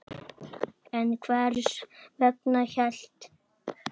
En hvers vegna hélt